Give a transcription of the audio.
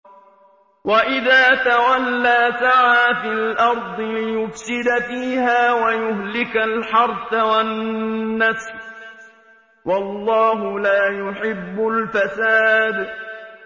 وَإِذَا تَوَلَّىٰ سَعَىٰ فِي الْأَرْضِ لِيُفْسِدَ فِيهَا وَيُهْلِكَ الْحَرْثَ وَالنَّسْلَ ۗ وَاللَّهُ لَا يُحِبُّ الْفَسَادَ